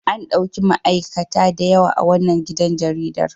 An ɗauki ma'aikata da yawa a wannan gidan jaridar.